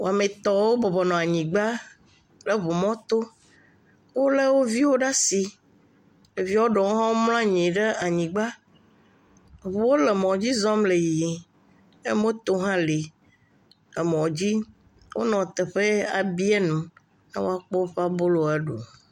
aƒetɔɖe kple via wó bɔbɔnyi ɖe ekplɔ̃ ɖe nu yike wò ku tsi ɖe atukpa me kɔ daɖe kplɔ̃ dzi alebe ɖeviwo kɔ tsi nɔ ƒoƒom ɖe amadede yike wo ku tsi ɖe dzi le tukpa viviviwo me le wógbɔ